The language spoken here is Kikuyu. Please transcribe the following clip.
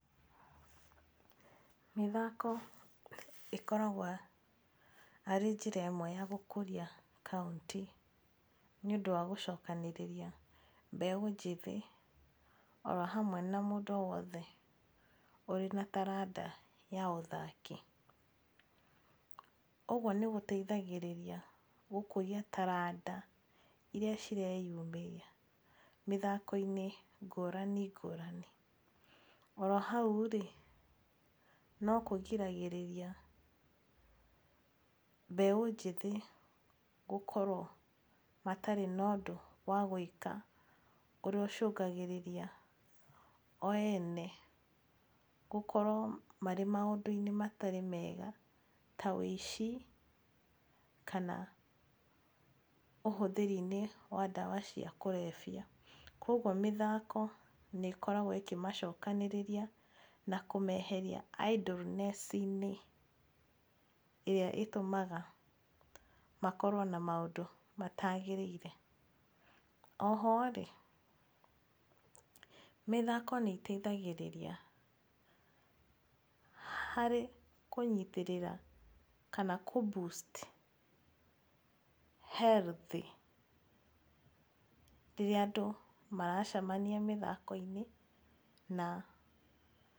Mĩthako ĩkoragwo arĩ njĩra ĩmwe ya gũkũria kaũntĩ nĩ ũndũ wa gũcokanĩrĩria mbeũ njĩthĩ oro hamwe na mũndũ o wothe ũrĩ na taranda ya ũthaki. Ũguo nĩ gũteithagĩrĩria gũkũria taranda irĩa cireyumĩria mĩthako-inĩ ngũrani ngũrani. Oro hau rĩ no kũgiragĩrĩria mbeũ njĩthĩ gũkorwo matarĩ na ũndũ wa gwĩka ũrĩa ũcũngagĩrĩria o ene gũkorwo marĩ maũndũ-inĩ matarĩ mega ta ũici kana ũhũthĩri-inĩ wa ndawa cia kũrebia. Kwoguo mĩthako nĩ ĩkoragwo ĩkĩmacokanĩrĩria na kũmeheria idleness inĩ ĩrĩa ĩtũmaga makorwo na maũndũ mataagĩrĩire. O ho rĩ mĩthako nĩ ĩteithagĩrĩria harĩ kũnyitĩrĩra kana kũ boost health rĩrĩa andũ maracemania mĩthako-inĩ na...